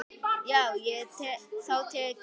Þá tek ég hann!